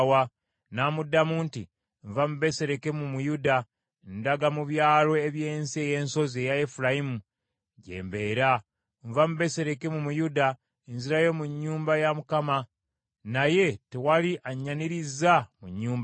N’amuddamu nti, “Nva mu Besirekemu mu Yuda, ndaga mu byalo eby’ensi ey’ensozi eya Efulayimu gye mbeera. Nva mu Besirekemu mu Yuda, nzirayo mu nnyumba ya Mukama , naye tewali anyannirizza mu nnyumba ye.”